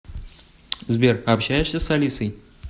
сбер общаешься с алисой